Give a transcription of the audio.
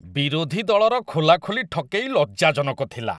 ବିରୋଧୀ ଦଳର ଖୋଲାଖୋଲି ଠକେଇ ଲଜ୍ଜାଜନକ ଥିଲା।